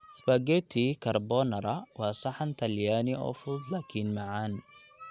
Spaghetti carbonara waa saxan talyaani oo fudud laakiin macaan.